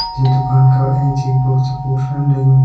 जीं दुकान का एंच एक बड़ु सा पोस्टरन लग्युं।